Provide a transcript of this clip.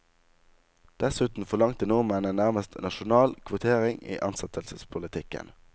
Dessuten forlangte nordmennene nærmest nasjonal kvotering i ansettelsespolitikken.